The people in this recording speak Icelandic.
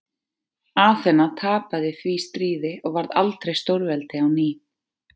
Aþena tapaði því stríði og varð aldrei stórveldi á ný.